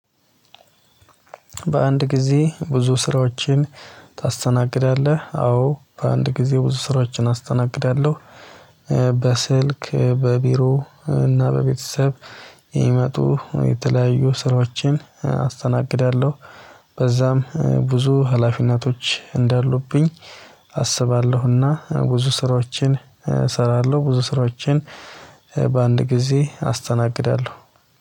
"በአንድ ጊዜ ብዙ ስራዎችን ታስተናግዳለህ?" አዎ፤ በአንድ ጊዜ ብዙ ስራዎችን አስተናግዳለሁ። በስልክ፣ በቢሮ እና በቤተሰብ የሚመጡ የተለያዩ ስራዎችን አስተናግዳለሁ። በዛም ብዙ ሀላፊነቶች እንዳሉብኝ አስባለሁ። እና ብዙ ስራዎችን እሰራለሁ። ብዙ ስራዎችን በአንድ ጊዜ አስተናግዳለሁ።